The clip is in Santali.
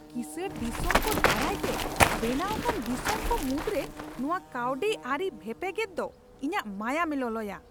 ᱠᱤᱥᱟᱹᱬ ᱫᱤᱥᱚᱢᱠᱚ ᱫᱟᱨᱟᱭᱛᱮ ᱵᱮᱱᱟᱣ ᱟᱠᱟᱱ ᱫᱤᱥᱚᱢ ᱠᱚ ᱢᱩᱫᱨᱮ ᱱᱚᱶᱟ ᱠᱟᱹᱣᱰᱤ ᱟᱹᱨᱤ ᱵᱷᱮᱯᱮᱜᱮᱫ ᱫᱚ ᱤᱧᱟᱹᱜ ᱢᱟᱭᱟᱢᱮ ᱞᱚᱞᱚᱭᱟ ᱾